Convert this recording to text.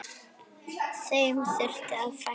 Þeim þurfi að fækka.